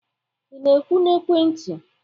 ị na-ekwu na ekwentị?